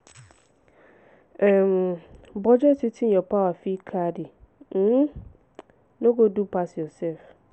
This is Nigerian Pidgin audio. um budget wetin your power fit carry um no go do pass yourself